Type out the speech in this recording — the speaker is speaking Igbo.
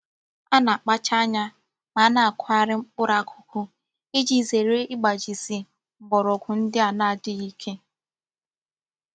A na-akpacha anya ma a na-akughari mkpuru akuku, Iji zere igbajisi mgborogwu ndi a n'adighi Ike.